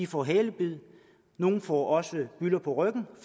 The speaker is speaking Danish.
får halebid nogle får også bylder på ryggen